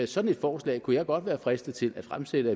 sådan et forslag kunne jeg godt være fristet til at fremsætte